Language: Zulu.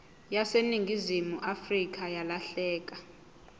yaseningizimu afrika yalahleka